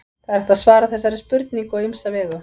það er hægt að svara þessari spurningu á ýmsa vegu